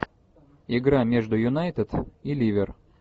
игра между юнайтед и ливер